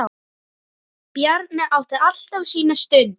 Bjarni átti alltaf sína stund.